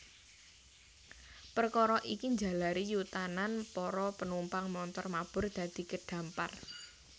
Perkara iki njalari yutanan para penumpang montor mabur dadi kedampar